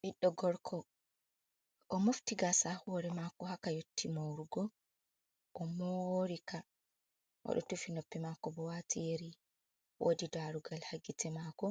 Ɓiɗɗo gorko o'mofti gasa ha hore mako ha ka yotti morugo. O'morika! oɗo tufi noppi mako bo wati yeri. Wodi darugal ha gite mako.